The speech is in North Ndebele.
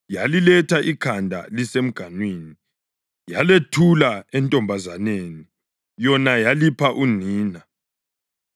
yaliletha ikhanda lisemganwini. Yalethula entombazaneni, yona yalipha unina.